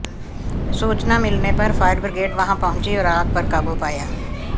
सूचना मिलने पर फायरब्रिगेड वहां पहुंची और आग पर काबू पाया